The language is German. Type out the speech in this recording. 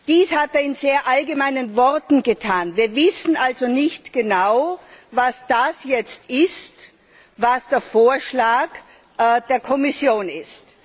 Dies hat er in sehr allgemeinen Worten getan. Wir wissen also nicht genau, was jetzt der Vorschlag der Kommission ist.